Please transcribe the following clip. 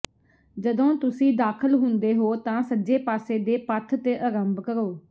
ਜਦੋਂ ਤੁਸੀਂ ਦਾਖਲ ਹੁੰਦੇ ਹੋ ਤਾਂ ਸੱਜੇ ਪਾਸੇ ਦੇ ਪਥ ਤੇ ਅਰੰਭ ਕਰੋ